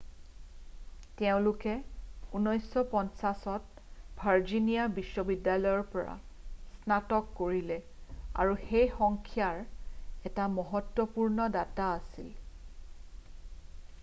তেওঁলোকে 1950ত ভাৰ্জিনিয়া বিশ্ববিদ্যালয়ৰ পৰা স্নাতক কৰিলে আৰু সেই সংখ্যাৰ এটা মহত্বপূৰ্ণ দাতা আছিল